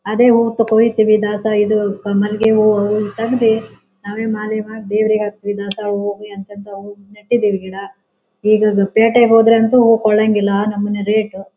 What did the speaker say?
ಅದೇ ಹೂವ್ ತ್ ಕೊಯ್ತಿವಿ ದಾಸ ಇದು ಪ ಮಲ್ಲಿಗೆ ಹೂವು ತಾಗ್ದಿ ನಾವೇ ಮಾಲೆ ದೇವರಿಗೆ ಹಾಕ್ತಿವಿ ದಾಸ ಹೂವು ಅತ್ ಅಂತ ಹೂವು ಗೆ ನೆಟ್ಟಿದಿವಿ ಗಿಡ. ಈಗ ಪೇಟೆಗೆ ಹೋದ್ರೆ ಅಂತೂ ಹೂವು ಕೊಳಂಗೆ ಇಲ್ಲ ಆ ನಮೂನಿ ರೇಟ್ .